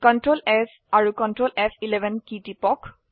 Ctrl S আৰু Ctrl ফ11 key টিপক